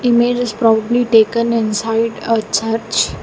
Image is proudly taken inside a church.